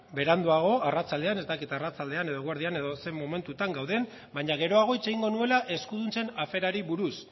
beranduago arratsaldean ez dakit arratsaldean edo eguardian edo zein momentutan gauden baina geroago hitz egingo nuela eskuduntzen aferari buruz